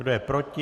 Kdo je proti?